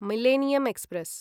millennium express